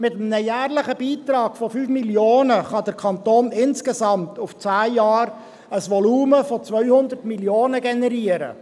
Mit einem jährlichen Beitrag von 5 Mio. Franken kann der Kanton insgesamt auf zehn Jahre hinaus ein Volumen von 200 Mio. Franken generieren.